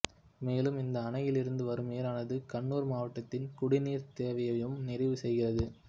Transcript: மேலும் இந்த அணையிலிருந்து வரும் நீரானது கண்ணூர் மாவட்டத்தின் குடிநீர் தேவையையும் நிறைவு செய்கிறது